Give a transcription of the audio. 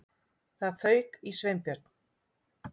Það fauk í Sveinbjörn.